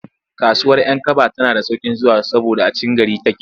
Kasuwar 'Yankaba tana da sauƙin zuwa saboda a cikin gari take.